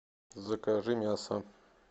закажи мясо